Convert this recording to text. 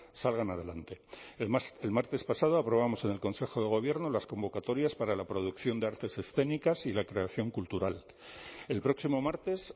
salgan adelante es más el martes pasado aprobamos en el consejo de gobierno las convocatorias para la producción de artes escénicas y la creación cultural el próximo martes